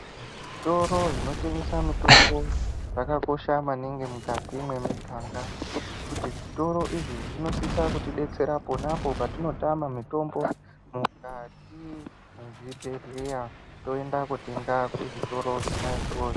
Zvitoro zvinotengesa mitombo zvakakosha maningi mukati mwemiganga ngekuti zvitoro izvi zvinosisa kutidetsera ponapo patinotame mitombo mukati mwezvibhhleya toenda kotenga kuzvitoro zvona izvozvo.